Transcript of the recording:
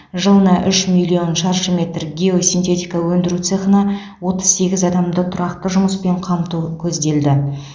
жылына үш миллион шаршы метр геосинтетика өндіру цехына отыз сегіз адамды тұрақты жұмыспен қамту көзделді